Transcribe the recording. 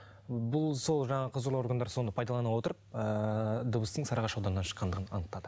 бұл сол жаңағы құзырлы органдар соны пайдалана отырып ыыы дыбыстың сарыағаш ауданынан шыққанын анықтады